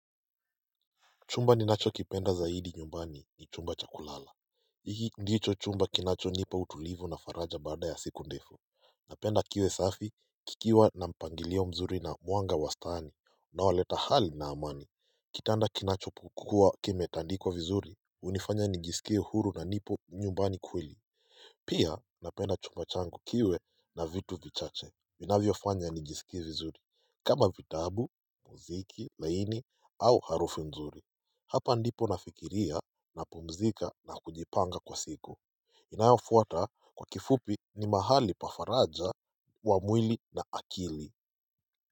Chumba ninacho kipenda zaidi nyumbani ni chumba chakulala hiki ndicho chumba kinacho nipa utulivu na faraja barada ya siku ndefu Napenda kiwe safi kikiwa na mpangilio mzuri na mwanga wastani Unawaleta hali na amani Kitanda kinacho kukua kimetandikwa vizuri unifanya nijisikie uhuru na nipo nyumbani kweli Pia napenda chumba changu kiwe na vitu vichache vinavyo fanya nijisikie vizuri kama vitabu muziki laini au harufu mzuri Hapa ndipo nafikiria na pumzika na kujipanga kwa siku inayofuata kwa kifupi ni mahali pa faraja kwa mwili na akili.